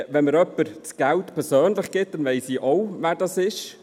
Wenn mir jemand persönlich Geld übergibt, weiss ich auch, von wem es ist.